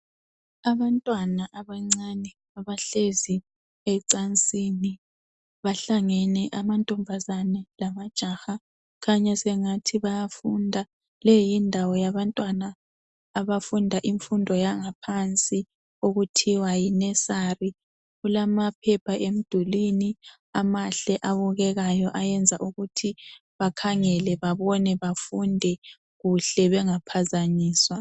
Abantwana abancane abahlezi ecansini, bahlangane amantombazane lamajaha kukhanya sengathi bayafunda. Leyindawo yabantwana abafunda imfundo yangaphansi okuthiwa yi nursery. Kulamaphepha emdulwini amahle abukekayo ayenza ukuthi bakhangele babone bafunde kuhle bengaphazanyiswa.